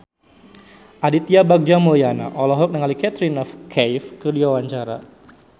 Aditya Bagja Mulyana olohok ningali Katrina Kaif keur diwawancara